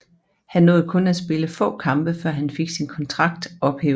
Han nåede kun at spille få kampe før han fik sin kontrakt ophævet